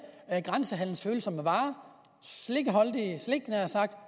grænsehandlens følsomme varer slik